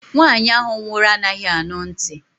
Nwaanyi ahụ nwụrụ anaghị anụ ntị